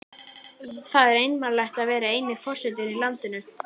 Það er einmanalegt að vera eini forsetinn í landinu.